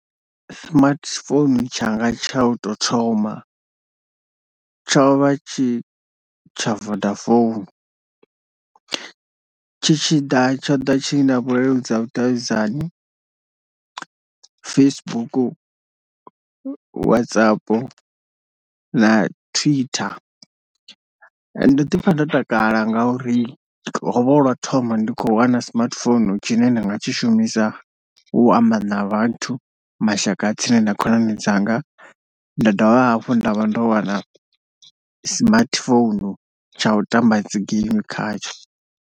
Smartphone tshanga tsha u tou thoma tsho vha tshi tsha Vodafone, tshi tshi ḓa tsho ḓa tshi na vhuleludzi ha vhudavhidzani, Facebook, WhatsApp na Twitter ndo ḓi pfha ndo takala nga uri hovha hu lwau thoma ndi kho wana smartphone tshine nda nga tshi shumisa u amba na vhathu, mashaka tsini na khonani dzanga nda dovha hafhu nda vha ndo wana smartphone tsha u tamba dzi game khatsho.